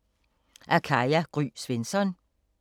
Af Katja Gry Svensson